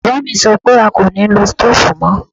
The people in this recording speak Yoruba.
Bàbá mi sọ pé a kò nilo stoofu mọ.